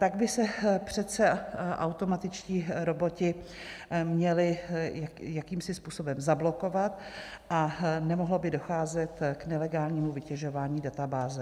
Tak by se přece automatičtí roboti měli jakýmsi způsobem zablokovat a nemohlo by docházet k nelegálnímu vytěžování databáze.